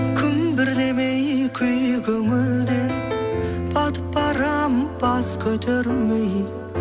күмбірлемей күй көңілден батып барамын бас көтермей